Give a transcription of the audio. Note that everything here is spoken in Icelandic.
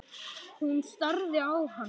Hún starði á hana.